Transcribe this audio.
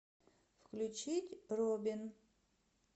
включить робин